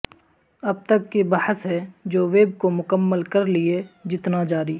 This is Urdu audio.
اب تک کی بحث ہے جو ویب کو مکمل کر لئے جتنا جاری